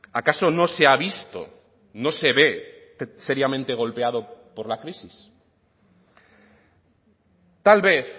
acaso no se ha visto no se ve seriamente golpeado por la crisis tal vez